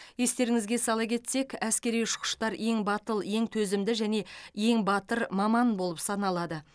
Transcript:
естеріңізге сала кетсек әскери ұшқыштар ең батыл ең төзімді және ең батыр маман болып саналады